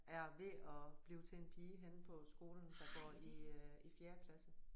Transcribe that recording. Er ved at blive til en pige henne på skolen der går i øh i fjerde klasse